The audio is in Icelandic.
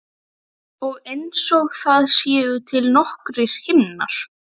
Og einsog það séu til nokkrir himnar.